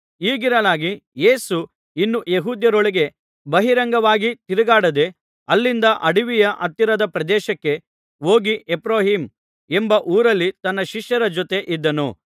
ಹೀಗಿರಲಾಗಿ ಯೇಸು ಇನ್ನೂ ಯೆಹೂದ್ಯರೊಳಗೆ ಬಹಿರಂಗವಾಗಿ ತಿರುಗಾಡದೆ ಅಲ್ಲಿಂದ ಅಡವಿಯ ಹತ್ತಿರದ ಪ್ರದೇಶಕ್ಕೆ ಹೋಗಿ ಎಫ್ರಾಯೀಮ್ ಎಂಬ ಊರಲ್ಲಿ ತನ್ನ ಶಿಷ್ಯರ ಜೊತೆ ಇದ್ದನು